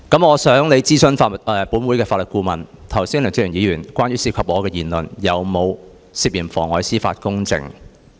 我想你諮詢本會法律顧問，剛才梁志祥議員有關我的言論有否涉嫌妨礙司法公正？